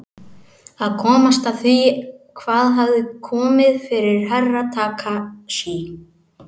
Að komast að því hvað hafði komið fyrir Herra Takashi.